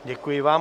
Děkuji vám.